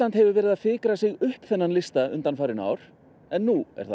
hefur verið að fikra sig upp þennan lista undanfarin ár en nú